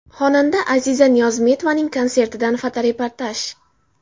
Xonanda Aziza Niyozmetovaning konsertidan fotoreportaj.